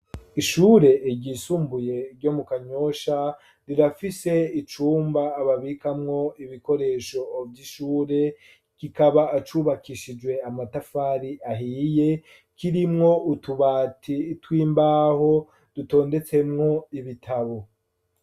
Ishure ryisumbuye ryo mu kanyosha rirafise icumba ababikamwo ibikoresho vy'ishure kikaba acubakishijwe amatafari ahiye kirimwo utubati twimbaho dutondetsemwo ibitabo.